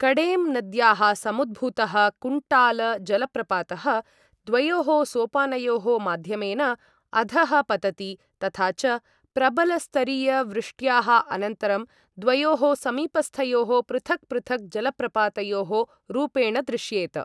कडेम् नद्याः समुद्भूतः कुन्टाल जलप्रपातः द्वयोः सोपानयोः माध्यमेन अधः पतति तथा च प्रबलस्तरीयवृष्ट्याः अनन्तरं द्वयोः समीपस्थयोः पृथक् पृथक् जलप्रपातयोः रूपेण दृश्येत।